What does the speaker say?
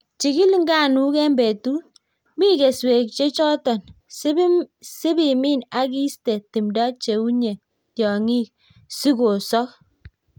Chikil nganuk en betut, min keswek chechoton, sib imin ak iste timdo cheunye tiongik sikosok.